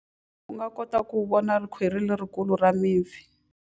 U nga kota ku vona khwiri lerikulu ra mipfi.